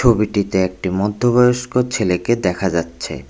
ছবিটিতে একটি মধ্যবয়স্ক ছেলেকে দেখা যাচ্ছে।